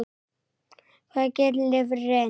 Hvað gerir lifrin?